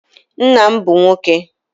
Nna m bụ nwoke